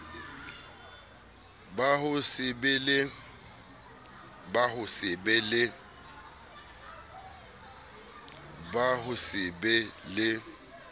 ba ho se be le